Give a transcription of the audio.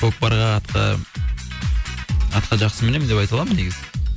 көкпарға атқа атқа жақсы мінемін деп айта аламын негізі